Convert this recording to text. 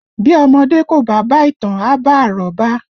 Bí ọmọdé kò bá bá ìtàn, a bá àrọ́bá